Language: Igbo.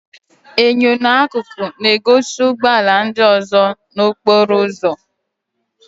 Enyo n'akụkụ na-egosi ụgbọ ala ndị ọzọ n'okporo ụzọ.